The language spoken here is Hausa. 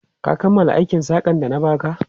Ka kammala aikin saƙan da na ba ka?